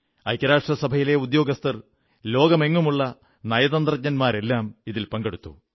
ഐക്യരാഷ്ട്രസഭയിലെ ഉദ്യോഗസ്ഥർ ലോകമെങ്ങുമുള്ള നയതന്ത്രജ്ഞർ തുടങ്ങിയവരെല്ലാം ഇതിൽ പങ്കെടുത്തു